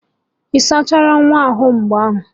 Ị sachara nwa ahụ ugbu a?